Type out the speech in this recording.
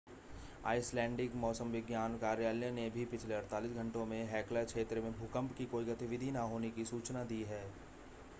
Icelandic मौसम विज्ञान कार्यालय ने भी पिछले 48 घंटों में हेक्ला क्षेत्र में भूकंप की कोई गतिविधि न होने की सूचना दी है